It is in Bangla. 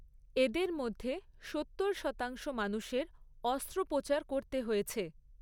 এদের মধ্যে সত্তর শতাংশ মানুষের অস্ত্রোপচার করতে হয়েছে।